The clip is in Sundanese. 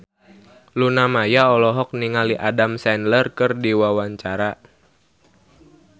Luna Maya olohok ningali Adam Sandler keur diwawancara